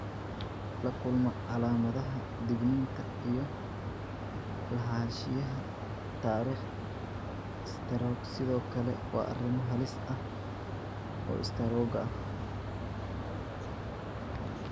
La kulma calaamadaha digniinta iyo lahaanshiyaha taariikh istaroog sidoo kale waa arrimo halis u ah istaroogga.